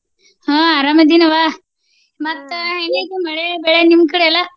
ಹ್ಮ ಅರಾಮ ಅದಿನವ್ವ ಮತ್ತ ಹೆಂಗ ಐತಿ ಮಳೆ ಬೆಳೆ ನಿಮ್ಮ ಕಡೆ ಎಲ್ಲ?